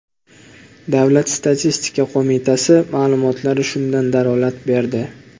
Davlat statistika qo‘mitasi ma’lumotlari shundan dalolat berdi .